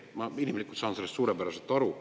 Ma inimlikult saan sellest suurepäraselt aru.